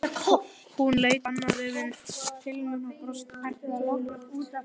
Hún leit annað veifið til mín og brosti dulúðugt.